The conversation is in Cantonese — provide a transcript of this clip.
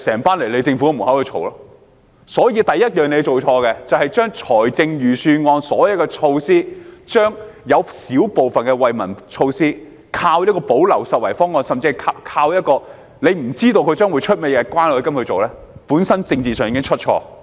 所以，政府做錯的第一件事，是在財政預算案的所有措施中，排除小部分惠民措施，依靠關愛基金的補漏拾遺方案來推行，甚至不知道關愛基金會推出甚麼措施，這本身在政治上已經出錯。